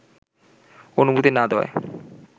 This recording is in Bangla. অনুমতি না দেওয়ায়